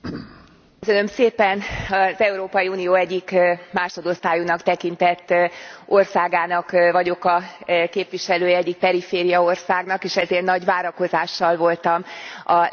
Az Európai Unió egyik másodosztályúnak tekintett országának vagyok a képviselője, egyik perifériaországnak, és ezért nagy várakozással voltam a lett elnökség iránt.